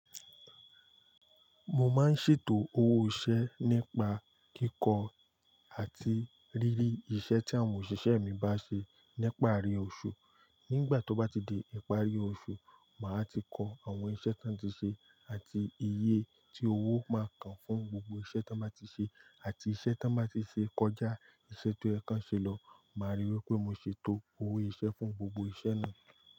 Mo máa ń ṣètò owó iṣẹ́ nípa kíkọ́ àti rírí iṣẹ́ tí àwọn òṣìṣẹ́ mi bá ṣe nípari oṣù. Nígbà tó bá ti di ìparí oṣù, màá ti kọ àwọn iṣẹ́ tí wọ́n ti ṣe àti iye tí owó máa kan fún gbogbo iṣẹ́ tí wọ́n máa ti ṣe àti iṣẹ́ tí wọ́n báa ti ṣe kọjá iṣẹ́ tó yẹ̀kan ṣelọ́. Màá ríi wí pé mo ṣètò owó iṣẹ́ fún gbogbo iṣẹ́ náà.